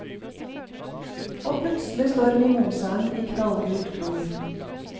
Og plutselig står mimosaen i knallgult flor.